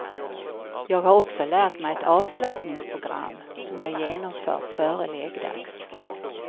Jag har också lärt mig ett avslappningsprogram som jag genomför före läggdags.